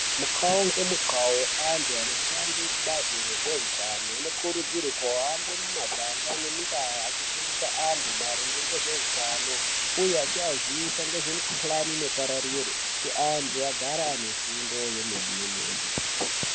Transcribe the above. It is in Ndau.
Mutywau ngemutywau antu anoshande kubazi rezveutano anokurudzirwa kuhambe mumaganga ne mundau vachifundisa vantu ngezveutano uye achiaziyisa ngezvimikhuhlani inopararira kuti antu agare ane fundo yemene mene.